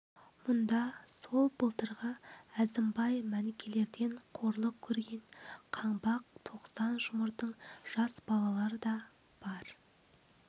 мұнда сол былтырғы әзімбай мәнікелерден қорлық көрген қаңбақ тоқсан жұмырдың жас балалары да бар